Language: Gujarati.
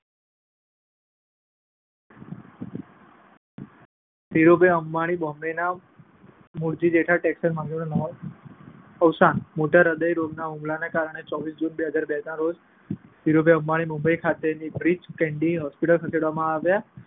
ધીરુભાઈ અંબાણીએ બોમ્બેના મૂળજી-જેઠા ટેક્સટાઈલ માર્કેટમાંથી અવસાન મોટા હદય રોગના હુમલાના કારણે ચોવીસ જૂન બે હજાર બે ના રોજ ધીરુભાઈ અંબાણીને મુંબઈ ખાતેની બ્રીચ કેન્ડી હોસ્પિટલમાં ખસેડવામાં આવ્યા.